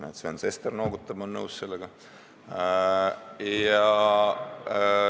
Näe, Sven Sester noogutab, on nõus sellega.